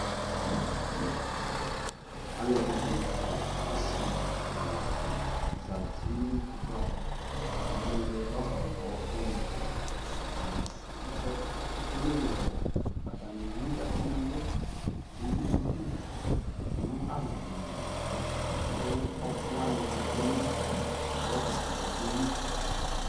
Alɛdini asivi ɛla di zati nʋ ikpoku ava kewele rɔba ɔɔkʋ ni Atani s ekele ɔ atani ewu ɛkʋ nʋ ɛlʋ ewu duku nʋ azadi lι kʋ ɔɔkʋ wani tsue nʋ rɔba ɔɔkʋ lι